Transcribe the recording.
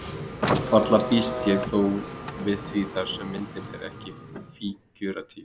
Varla býst ég þó við því þar sem myndin er ekki fígúratíf.